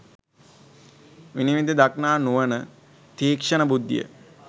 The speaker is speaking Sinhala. විනිවිද දක්නා නුවණ, තීක්‍ෂණ බුද්ධිය